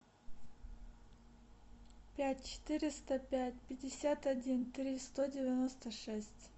пять четыреста пять пятьдесят один три сто девяносто шесть